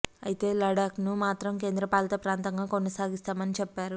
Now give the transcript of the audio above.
అయితే లద్దాఖ్ ను మాత్రం కేంద్రపాలిత ప్రాంతంగా కొనసాగిస్తామని చెప్పారు